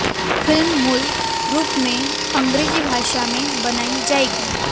film मूल रूप में अंग्रेजी भाषा में बनाई जाएगी